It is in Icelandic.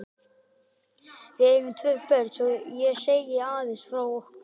Við eigum tvö börn, svo ég segi aðeins frá okkur.